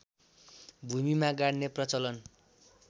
भूमिमा गाड्ने प्रलचन